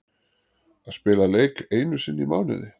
Að spila leik einu sinni í mánuði?